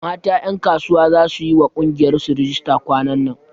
Mata ƴankasuwa za su yiwa ƙungiyar su rijista kwanan nan